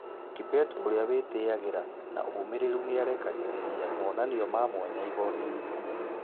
Kibet ũrĩw wĩteagĩra .....na ũmĩrĩru nĩarekagĩreria mũnanio ma mwanya igotinĩ.